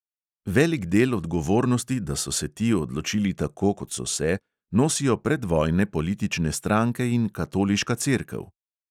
Velik del odgovornosti, da so se ti odločili tako, kot so se, nosijo predvojne politične stranke in katoliška cerkev.